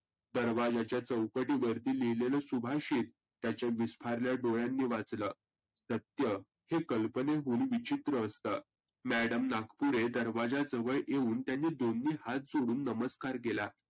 दरवाज्याच्या चौकटीवर लिहिलेलं सुभाषीत त्याच्या विस्पारल्या डोळ्यांनी वाचलं. सत्य हे कल्पनेहुन विचित्र असतं. madam नागपुरे दरवाज्याजवळ येऊन त्यांनी दोन्ही हात जोडून नमस्कार केला.